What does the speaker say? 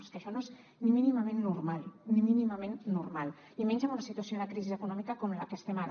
és que això no és ni mínimament normal ni mínimament normal i menys en una situació de crisi econòmica com en la que estem ara